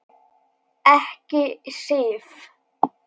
Ekki Sif.